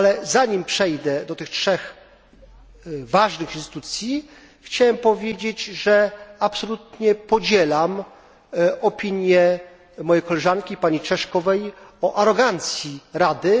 Zanim przejdę do tych 3 ważnych instytucji, chciałem powiedzieć, że absolutnie podzielam opinię mojej koleżanki pani Češkovej o arogancji Rady.